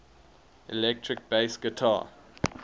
electric bass guitar